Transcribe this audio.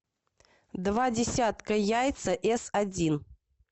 два десятка яйца эс один